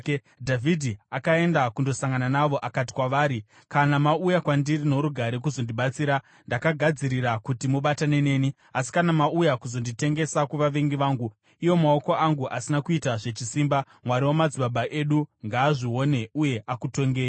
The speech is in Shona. Dhavhidhi akaenda kundosangana navo akati kwavari, “Kana mauya kwandiri norugare, kuzondibatsira, ndakagadzirira kuti mubatane neni. Asi kana mauya kuzonditengesa kuvavengi vangu iwo maoko angu asina kuita zvechisimba, Mwari wamadzibaba edu ngaazvione uye akutongei.”